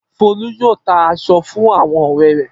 Folú yóò ta aṣọ fún àwọn ọ̀rẹ́ rẹ̀.